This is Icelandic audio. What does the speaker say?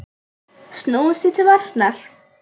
Snúumst því til varnar!